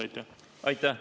Aitäh!